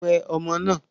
Wẹ ọmọ náà!